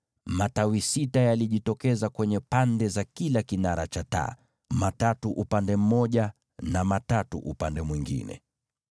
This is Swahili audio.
Matawi sita yalitokeza kuanzia ule ufito wa katikati wa kinara cha taa: matawi matatu upande mmoja na matatu upande mwingine.